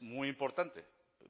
muy importante